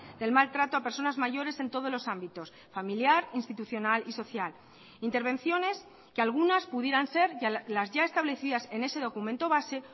del maltrato a personas mayores en todos los ámbitos familiar institucional y social intervenciones que algunas pudieran ser las ya establecidas en ese documento base